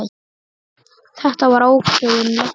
Þetta var ákveðin lexía.